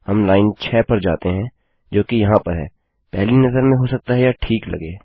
हम लाइन 6 पर जाते हैं जो कि यहाँ है और पहली नज़र में हो सकता है यह ठीक लगे